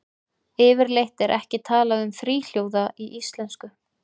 Yfirleitt er ekki talað um þríhljóða í íslensku.